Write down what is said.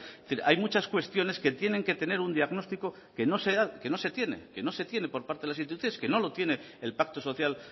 decir hay muchas cuestiones que tienen que tener un diagnóstico que no se tiene que no se tiene por parte de las instituciones que no lo tiene el pacto social